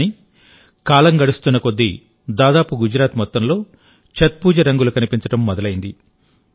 కానీ కాలం గడుస్తున్న కొద్దీ దాదాపు గుజరాత్ మొత్తంలో ఛత్ పూజ రంగులు కనిపించడం మొదలైంది